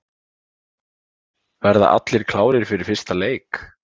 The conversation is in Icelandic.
Verða allir klárir fyrir fyrsta leik?